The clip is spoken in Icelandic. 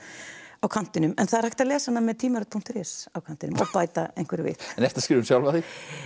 á kantinum en það er hægt að lesa hana með punktur is á kantinum og bæta einhverju við en ertu að skrifa um sjálfa þig